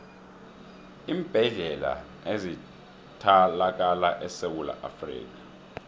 iimbedlela ezithalakala esewula afrikha